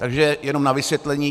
Takže jenom na vysvětlení.